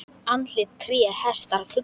Andlit, tré, hestar, fuglar.